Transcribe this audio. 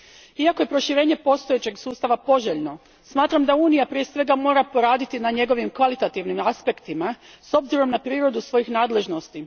Iako je proširenje postojećeg sustava poželjno, smatram da Unija prije svega mora poraditi na njegovim kvalitativnim aspektima s obzirom na prirodu svojih nadležnosti.